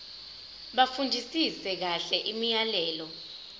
bafundisise kahle imiyalelo